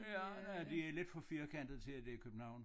Ja nej det lidt for firkantet til at det er København